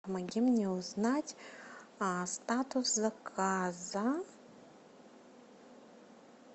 помоги мне узнать статус заказа